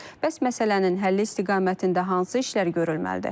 Bəs məsələnin həlli istiqamətində hansı işlər görülməlidir?